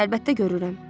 Əlbəttə görürəm.